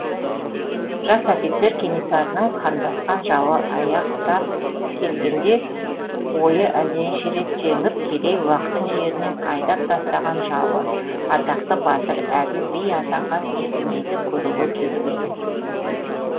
жас офицер кенесарының қандасқан жауы аяқтап келгенде ойы әлденеше рет жеңіп керей уақтың жерінен айдап тастаған жауы атақты батыр әділ би атанған есенейді көруге келіп еді